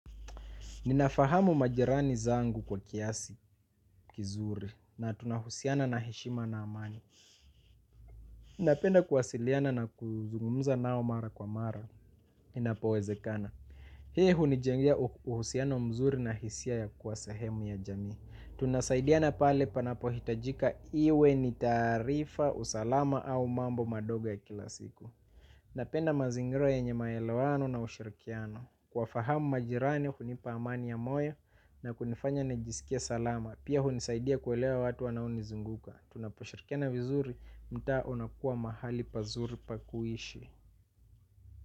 Ninafahamu majirani zangu kwa kiasi kizuri na tunahusiana na heshima na amani. Napenda kuwasiliana na kuzungumza nao mara kwa mara. Inapowezekana. Hii hunijengea uhusiano mzuri na hisia ya kuwa sehemu ya jamii. Tunasaidiana pale panapo hitajika iwe ni taarifa, usalama au mambo madogo ya kila siku. Napenda mazingira yenye maelewano na ushirikiano. Kuwafahamu majirani, hunipa amani ya moyo na kunifanya nijisikie salama. Pia hunisaidia kuelewa watu wanao nizunguka. Tunaposhirikiana vizuri, mtaa unakuwa mahali pazuri pa kuishi.